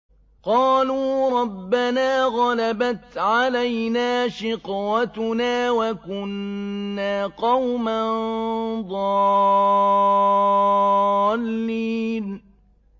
قَالُوا رَبَّنَا غَلَبَتْ عَلَيْنَا شِقْوَتُنَا وَكُنَّا قَوْمًا ضَالِّينَ